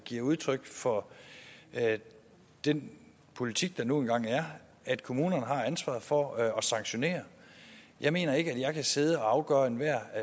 giver udtryk for er den politik der nu engang er at kommunerne har ansvaret for at sanktionere jeg mener ikke at jeg kan sidde og afgøre enhver